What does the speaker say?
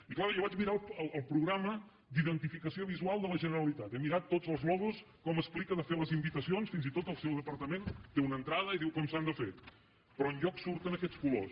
i clar jo vaig mirar el programa d’identificació visual de la generalitat he mirat tots els logos com explica de fer les invitacions fins i tot del seu departament té una entrada i diu com s’han de fer però enlloc surten aquests colors